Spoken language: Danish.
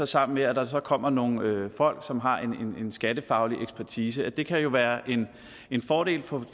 sammen med at der kommer nogle folk som har en skattefaglig ekspertise det kan jo være en fordel på